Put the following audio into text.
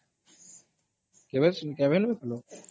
କେବେ ନାଇଁ ଖେଲ?